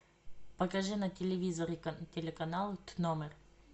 покажи на телевизоре телеканал тномер